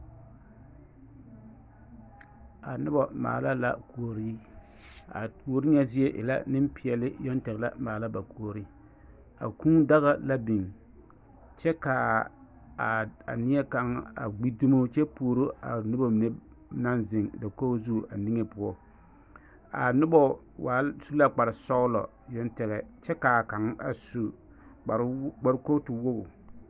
A noba maala la kuori a kuori nyɛ zie e la nempeɛle yoŋ la maala ba kuori a kūūdaga la biŋ kyɛ ka a neɛ kaŋ a ɡbi dumo kyɛ puoro a noba naŋ zeŋ dakoɡi zu niŋe poɔ a nobɔ su la kparsɔɡelɔ yoŋ tɛŋɛ kyɛ ka a kaŋ a su kparkootuwoɡi.